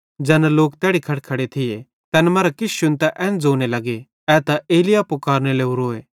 ज़ैना लोक तैड़ी खड़खड़े थिये तैन मरां किछ शुन्तां एन ज़ोने लग्गे कि ए त एलिय्याह फुकारने लोरोए